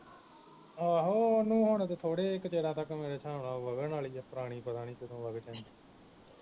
ਆਹੋ ਉਹਨੂੰ ਹੁਣ ਥੋੜੇ ਕਿ ਚਿਰਾਂ ਤੱਕ ਮੇਰੇ ਹਿਸਾਬ ਨਾਲ ਵਾਲੀ ਐ ਪੁਰਾਣੀ ਪਤਾ ਨੀ ਕਦੋਂ ਵਗ ਜਾਂਦੀ